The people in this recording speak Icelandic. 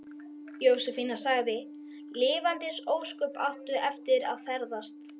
Jósefína sagði: Lifandis ósköp áttu eftir að ferðast.